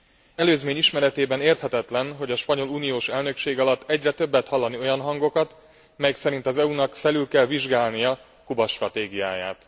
Ezen előzmény ismeretében érthetetlen, hogy a spanyol uniós elnökség alatt egyre többet hallani olyan hangokat, melyek szerint az EU nak felül kell vizsgálnia Kuba stratégiáját.